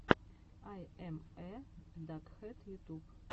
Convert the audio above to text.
ай эм э дакхэд ютуб